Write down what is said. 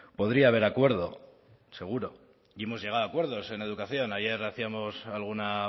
podría haber acuerdo seguro y hemos llegado a acuerdos en educación ayer hacíamos alguna